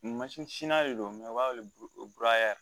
Mansin de don u b'a wele ko